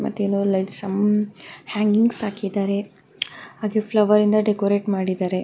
ಮತ್ತೆ ಏನೋ like some hangings ಹಾಕಿದರೆ ಹಾಗೆ ಫ್ಲವರ್ ಇಂದ ಡೆಕೋರೇಟ್ ಮಾಡಿದರೆ --